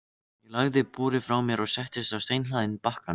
Ég lagði búrið frá mér og settist á steinhlaðinn bakkann.